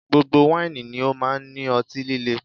Gbogbo wáìnì ni ó máa ń ní ọtí líle